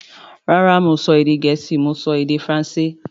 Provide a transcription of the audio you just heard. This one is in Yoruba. Rárá mi ò sọ èdè Gẹ̀ẹ́sì; Mo sọ Èdè Faransé